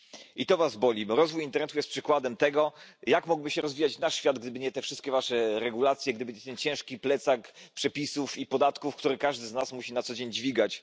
I to was boli, bo rozwój internetu jest przykładem tego, jak mógłby się rozwijać nasz świat, gdyby nie te wszystkie wasze regulacje, gdyby nie ten ciężki plecak przepisów i podatków, który każdy z nas musi na co dzień dźwigać.